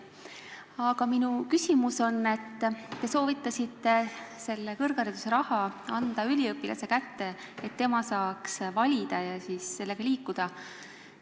Aga minu küsimus on selle kohta, et te soovitasite kõrghariduse raha anda üliõpilase kätte, et tema saaks kooli valida ja siis selle rahaga liikuda.